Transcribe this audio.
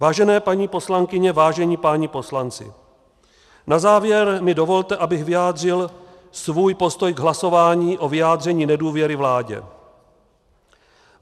Vážené paní poslankyně, vážení páni poslanci, na závěr mi dovolte, abych vyjádřil svůj postoj k hlasování o vyjádření nedůvěry vládě.